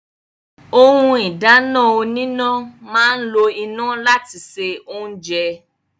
Ohun ìdáná oníná máa ń lo iná láti se oúnjẹ